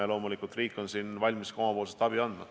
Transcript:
Ja loomulikult riik on siin valmis ka omapoolset abi andma.